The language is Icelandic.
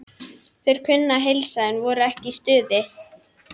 Þeir kunnu að heilsa, en voru ekki í stuði.